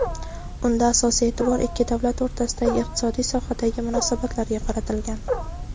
Unda asosiy e’tibor ikki davlat o‘rtasidagi iqtisodiy sohadagi munosabatlarga qaratilgan.